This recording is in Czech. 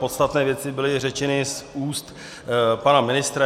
Podstatné věci byly řečeny z úst pana ministra.